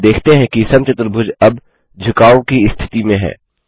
हम देखते हैं कि समचतुर्भुज अब झुकाव की स्थिति में है